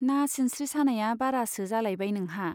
ना सिनस्रि सानाया बारासो जालायबाय नोंहा ?